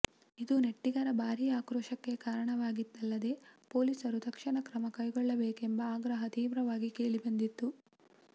ಇದು ನೆಟ್ಟಿಗರ ಭಾರಿ ಆಕ್ರೋಶಕ್ಕೆ ಕಾರಣವಾಗಿದ್ದಲ್ಲದೆ ಪೊಲೀಸರು ತಕ್ಷಣ ಕ್ರಮ ಕೈಗೊಳ್ಳಬೇಕೆಂಬ ಆಗ್ರಹ ತೀವ್ರವಾಗಿ ಕೇಳಿಬಂದಿತ್ತು